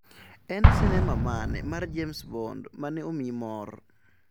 En sinema mane mar James Bond mane omiyi mor?